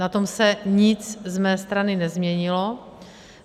Na tom se nic z mé strany nezměnilo.